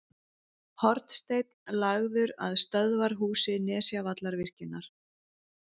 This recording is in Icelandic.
Hornsteinn lagður að stöðvarhúsi Nesjavallavirkjunar.